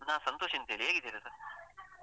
ನಾನು ಸಂತೋಷಂತ ಹೇಳಿ ಹೇಗಿದ್ದೀರಿ ಸರ್?